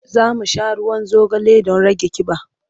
Za mu sha ruwan zogale don rage ƙiba.